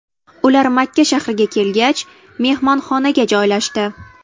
Ular Makka shahriga kelgach, mehmonxonaga joylashdi.